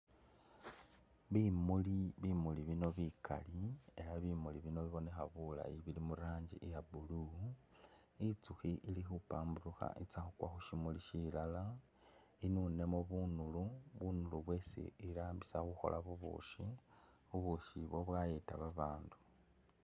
Bimuli, bimuli bino bikali ela bimuli bino bibonekha bulayi bili murangi iya blue itsukhi ili khupamburukha itsa khukwa khushimuli shilala inunamo bunulu bunulu bwesi irambisa kukhola bubushi bubushi bwo byayeta babandu.